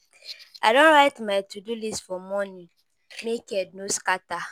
I don write my to do list for morning make head no scatter